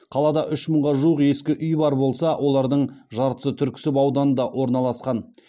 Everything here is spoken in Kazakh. қалада үш мыңға жуық ескі үй бар болса олардың жартысы түрксіб ауданында орналасқан